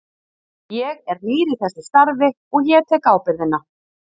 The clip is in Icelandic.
Ég er nýr í þessu starfi og ég tek ábyrgðina.